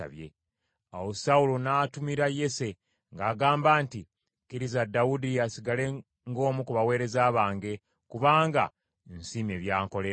Awo Sawulo n’atumira Yese ng’agamba nti, “Kkiriza Dawudi asigale ng’omu ku baweereza bange, kubanga nsiimye by’ankolera.”